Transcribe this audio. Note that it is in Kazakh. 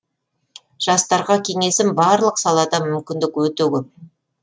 жастарға кеңесім барлық салада мүмкіндік өте көп